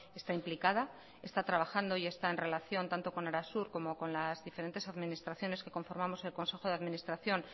está implicada está trabajando y está en relación tanto con arasur como con las diferentes administraciones que conformamos el consejo de administración